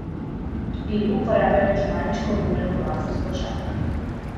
Pri delu uporablja računalniško vodeno lasersko žago.